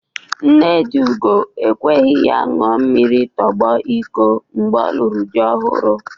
Nne dị Ugo ekweghi ya ṅua mmiri tụgbọ iko mgbe ọ lụrụ dị ọhụrụ.